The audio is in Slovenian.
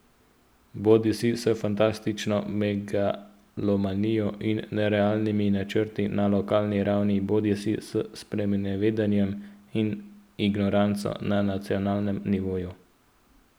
Bodisi s fantastično megalomanijo in nerealnimi načrti na lokalni ravni bodisi s sprenevedanjem in ignoranco na nacionalnem nivoju.